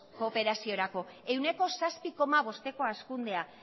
kooperaziorako ehuneko zazpi koma bosteko hazkundea